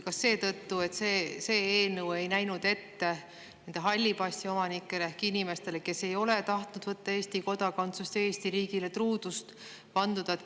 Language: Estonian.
Kas seetõttu, et see eelnõu ei näe ette halli passi omanikele ehk inimestele, kes ei ole tahtnud võtta Eesti kodakondsust ja Eesti riigile truudust vandunud?